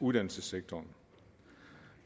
uddannelsessektoren